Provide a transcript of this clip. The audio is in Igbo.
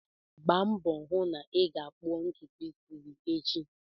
Gbaa mbọ hụ na ị ga-kpụọ ntutu isi gị echi!